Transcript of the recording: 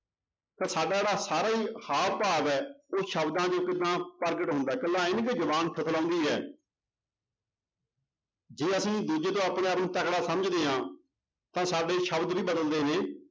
ਤਾਂ ਸਾਡਾ ਜਿਹੜਾ ਸਾਰਾ ਹੀ ਹਾਵ ਭਾਵ ਹੈ ਉਹ ਸ਼ਬਦਾਂ 'ਚ ਕਿੱਦਾਂ ਪ੍ਰਗਟ ਹੁੰਦਾ ਹੈ ਇਕੱਲਾ ਇਉਂ ਹੀ ਨੀ ਕਿ ਜ਼ੁਬਾਨ ਥਥਲਾਉਂਦੀ ਹੈ ਜੇ ਅਸੀਂ ਦੂਜੇ ਤੋਂ ਆਪਣੇ ਆਪ ਨੂੰ ਤਕੜਾ ਸਮਝਦੇ ਹਾਂ ਤਾਂ ਸਾਡੇ ਸ਼ਬਦ ਵੀ ਬਦਲਦੇ ਨੇ